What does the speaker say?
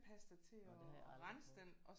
Nå det har jeg aldrig prøvet